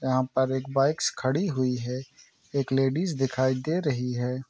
यहाँ पर एक बाइक्स खड़ी हुई है एक लेडिज दिखाई दे रही है।